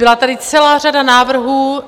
Byla tady celá řada návrhů